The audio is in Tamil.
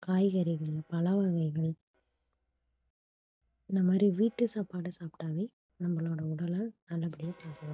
காய்கறிகள் பழ வகைகள் இந்த மாதிரி வீட்டு சாப்பாடு சாப்பிட்டாவே நம்மளோட உடலை நல்லபடியா பாதுகாக்கலாம்